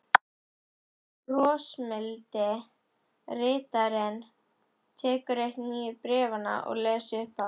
Brosmildi ritarinn tekur eitt nýju bréfanna og les upphátt